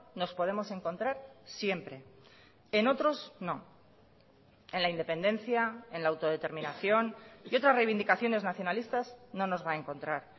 nos podemos encontrar siempre en otros no en la independencia en la autodeterminación y otras reivindicaciones nacionalistas no nos va a encontrar